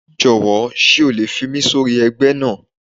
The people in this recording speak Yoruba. Jọ̀wọ́ sé o lè fi mí sórí ẹgbẹ́ náà